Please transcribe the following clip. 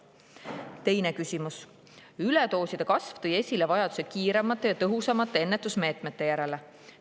Teine küsimus: "Üledooside kasv tõi esile vajaduse kiiremate ja tõhusamate ennetusmeetmete järele.